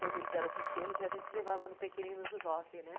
Quando eles eram pequenos, a gente levava no Pequeninos do jockey, né?